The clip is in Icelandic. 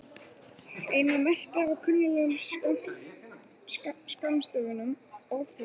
Einna mest ber á kunnuglegum skammstöfunum orðflokka.